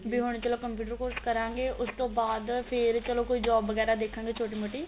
B ਹਨ ਚਲੋ computer course ਕਰਾਗੇ ਉਸ ਤੋਂ ਬਾਅਦ ਫੇਰ ਚਲੋ ਕੋਈ job ਵਗਿਆਰਾ ਦੇਖਾ ਗੇ ਕੋਈ ਛੋਟੀ ਮੋਟੀ